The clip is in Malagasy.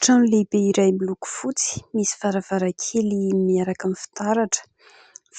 Trano lehibe iray miloko fotsy, misy varavarankely miaraka amin'ny fitaratra.